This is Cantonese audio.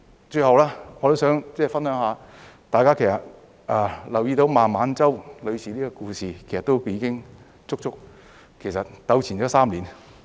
最後，我還想分享，大家其實也留意到孟晚舟女士的故事，已足足糾纏了3年。